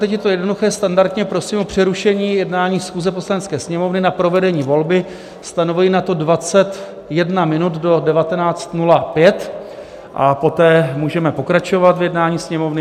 Teď je to jednoduché, standardně prosím o přerušení jednání schůze Poslanecké sněmovny na provedení volby, stanovuji na to 21 minut, do 19.05, a poté můžeme pokračovat v jednání Sněmovny.